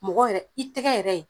Mɔgɔ yɛrɛ i tɛgɛ yɛrɛ